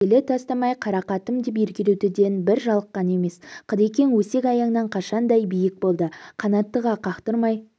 елі тастамай қарақатым деп еркелетуден бір жалыққан емес қыдекең өсек-аяңнан қашанда биік болды қанаттыға қақтырмай